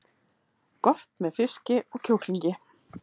Gott með fiski og kjúklingi